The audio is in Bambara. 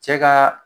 Cɛ ka